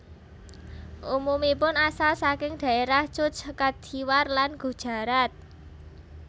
Umumipun asal saking daerah Cutch Kathiawar lan Gujarat